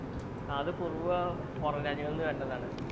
അത് കുറുവ പൊറം രാജ്യങ്ങളിൽ നിന്ന് വരുന്നതാണ്